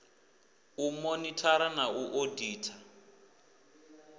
u monithara na u oditha